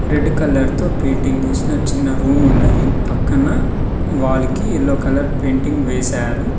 Red colour తో painting వేసిన చిన్న రూమ్ ఉన్నది పక్కన వాల్ కి ఎల్లో కలర్ పెయింటింగ్ వేసారు.